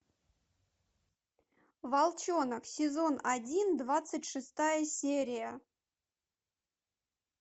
волчонок сезон один двадцать шестая серия